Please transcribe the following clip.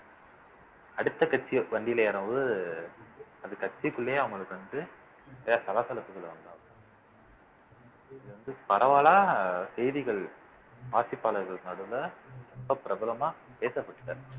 அடுத்த கட்சியை வண்டியில ஏறும்போது அது கட்சிக்குள்ளேயே அவங்களுக்கு வந்து சில சலசலப்புகள் வந்தாகும் இது வந்து பரவலா செய்திகள் வாசிப்பாளர்களுக்கு நடுவுல ரொம்ப பிரபலமா பேசப்பட்டுட்டாரு